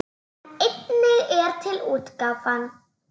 En einnig er til útgáfan